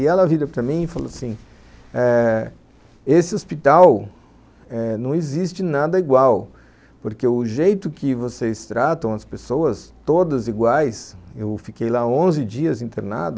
E ela vira para mim e fala assim eh... esse hospital não existe nada igual, porque o jeito que vocês tratam as pessoas, todas iguais, eu fiquei lá onze dias internada,